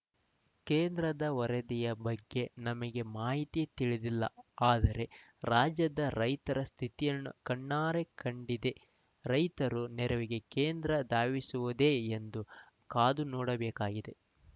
ಕೇಂದ್ರದ ವರದಿ ಬಗ್ಗೆ ನಮಗೆ ಮಾಹಿತಿ ತಿಳಿದಿಲ್ಲ ಆದರೆ ರಾಜ್ಯದ ರೈತರ ಸ್ಥಿತಿಯನ್ನು ಕಣ್ಣಾರೇ ಕಂಡಿದೆ ರೈತರು ನೆರವಿಗೆ ಕೇಂದ್ರ ಧಾವಿಸುವುದೇ ಎಂದು ಕಾದುನೋಡಬೇಕಿದೆ